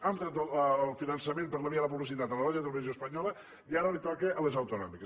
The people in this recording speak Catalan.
hem tret el finançament per la via de la publicitat a la radiotelevisió espanyola i ara els toca a les autonòmiques